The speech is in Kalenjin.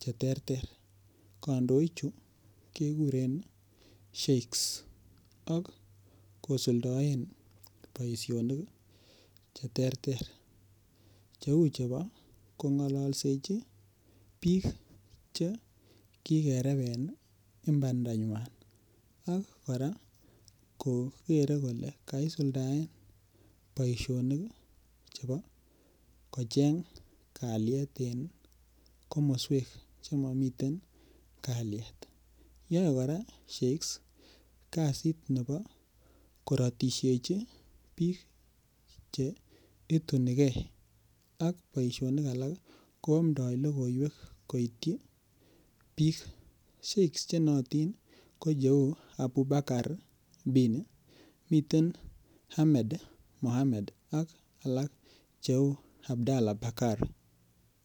cheterter, kandoik chu keguren sheiks ak kosuldoe boisionik cheterter cheu chepo kong'alalseichi piik che kigerepen imbanda nywan ak koraa kogere kole kaisuldaen boisionik chepo kocheng' kalyet en komoswek chemomiten kalyet, yoe kora sheiks kasit nepo koratisheichi piik che itunigei ak boisionik alak ko amdoy logoiwek koitchi piik sheik's che noyotin ko cheu Abubakar bin, miten Ahmed mohamed ak alak cheu Abdala Bakar.